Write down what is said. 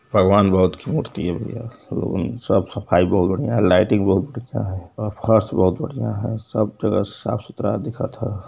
भगबान बुद्ध की मूर्ति है भैया साफ सफाई बोहोत बढ़िया है लाइटिंग बोहोत अच्छा है और फर्श बोहोत बढ़िया है सब जगह साफ़ सुथरा दिखत ह।